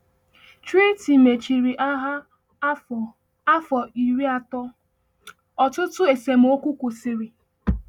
Treaty mechiri Agha Afọ Afọ Iri atọ, ọtụtụ esemokwu kwụsịrị.